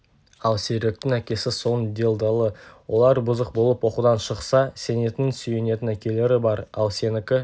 ал серіктің әкесі соның делдалы олар бұзық болып оқудан шықса сенетін сүйенетін әкелері бар ал сенікі